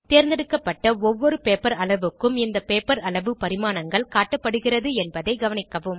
தேர்ந்தெடுக்கப்பட்ட ஒவ்வொரு பேப்பர் அளவுக்கும் இந்த பேப்பர் அளவு பரிமாணங்கள் காட்டப்படுகிறது என்பதைக் கவனிக்கவும்